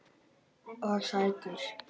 Og sætur.